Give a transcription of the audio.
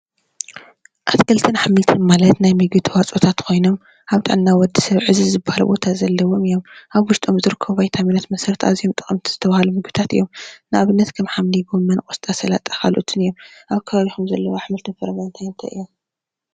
አትክልትን አሕምልትን ማለት ናይ ምግቢ ተዋፅኦታት ኮይኖም አብ ጥዕና ወዲ ሰብ ዕዙዝ ዝበሃል ቦታ ዘለዎም እዮም፡፡ አብ ውሽጦም ዝርከቡ ቫይታሚናት መሰረት አዝዮ ጠቀምቲ ዝተብሃሉ ምግቢታት እዮም፡፡ ንአብነት ከም ሓምሊ፣ ጎመን፣ ቆስጣ፣ ሰላጣ ካልኦትን እዮም፡፡ አብ ከባቢኩም ዘለው አሕምልትን ፍራምረን እንታይ እንታይ?